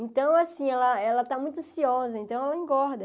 Então, assim, ela ela está muito ansiosa, então ela engorda.